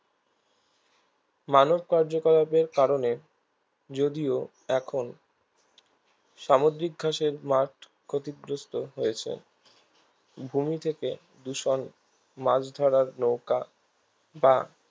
মানব কার্যকলাপের কারণে যদিও এখন সামুদ্রিক ঘাসের মাঠ ক্ষতিগ্রস্থ হয়েছে ভূমি থেকে দূষণ মাছ ধরার নৌকা বা